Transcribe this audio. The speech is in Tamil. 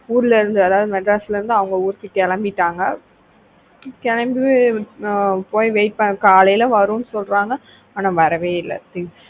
ஊர்ல இருந்து அதாவது மெட்ராஸ்ல இருந்து அவங்க ஊருக்கு கிளம்பிட்டாங்க கிளம்பி ஆஹ் போய் wait பண்ணா காலையில வரும்னு சொல்றாங்க ஆனா வரவே இல்ல things